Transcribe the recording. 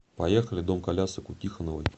поехали дом колясок у тихоновой